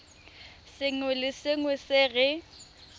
sengwe le sengwe se re